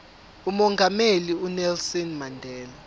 umongameli unelson mandela